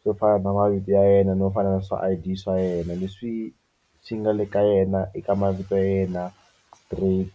swo fana na mavito ya yena no fana na swa I_D swa yena leswi swi nga le ka yena eka mavito ya yena straight.